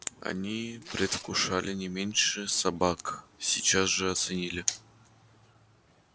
они предвкушали не меньше собак сейчас же оценили